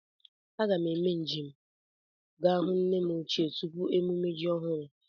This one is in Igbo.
A ga m eme nje m ga hụ nne m ochie tupu emume ji ọhụrụ